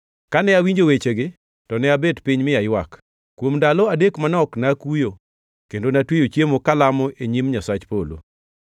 Kane awinjo wechegi, to ne abet piny mi aywak. Kuom ndalo manok nakuyo kendo natweyo chiemo kalamo e nyim Nyasach polo.